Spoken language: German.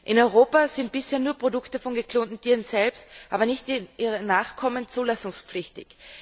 In Europa sind bisher nur Produkte von geklonten Tieren selbst, aber nicht ihrer Nachkommen zulassungspflichtig.